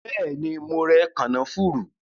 Bẹẹni, mo rẹ kànáfùrú